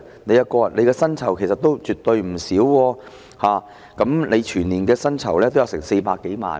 局長的薪酬其實絕對不少，全年薪酬高達400多萬元。